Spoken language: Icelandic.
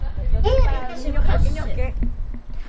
Hér í þessum kössum!